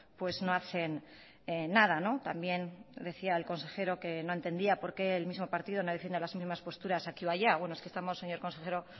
pues no hacen nada también decía el consejero que no entendía por qué el mismo partido no defiende las misma posturas aquí o allá bueno es que estamos señor consejero